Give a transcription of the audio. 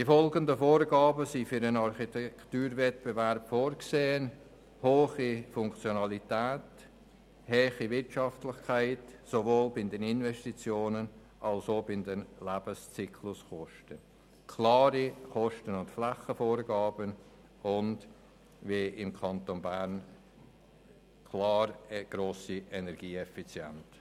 Die folgenden Vorgaben sind für den Architekturwettbewerb vorgesehen: hohe Funktionalität, hohe Wirtschaftlichkeit sowohl bei den Investitionen als auch bei den Lebenszykluskosten, klare Kosten- und Flächenvorgaben und eine grosse Energieeffizienz.